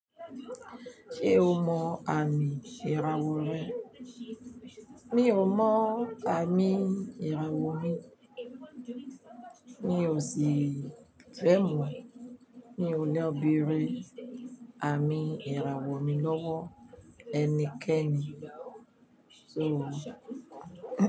Ṣé o mọ àmì ìràwọ̀ rẹ? Mi ò mọ àmì ìràwọ̀ mi. Mí òṣìfè mọ́, mi ò lọ́ beré àmì ìràwọ̀ mi lọ́wọ́ ẹnikẹ́ni, sọ.